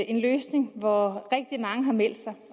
en løsning hvor rigtig mange har meldt sig